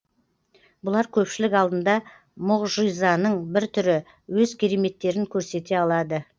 бұлар көпшілік алдында мұғжизаның бір түрі өз кереметтерін көрсете алады